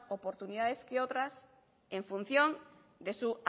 oportunidades que otras en función de su